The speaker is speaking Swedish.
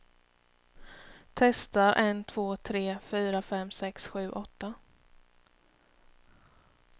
Testar en två tre fyra fem sex sju åtta.